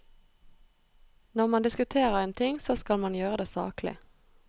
Når man diskuterer en ting, så skal man gjøre det saklig.